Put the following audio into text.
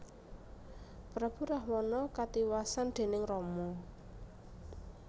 Prabu Rahwana katiwasan déning Rama